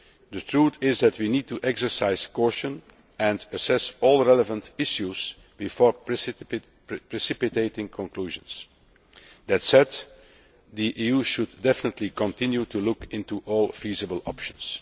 The truth is that we need to exercise caution and assess all relevant issues before precipitating conclusions. That said, the EU should definitely continue to look into all feasible options.